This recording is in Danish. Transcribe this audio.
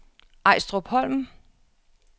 Ejstrupholm